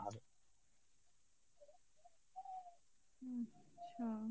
হম হম